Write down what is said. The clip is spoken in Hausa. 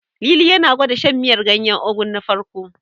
Lili yana gwanda shan miyar ganyen Ugu na farko.